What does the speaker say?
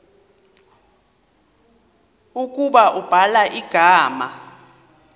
ukuba ubhala igama